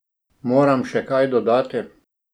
Moram še kaj dodati?